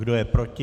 Kdo je proti?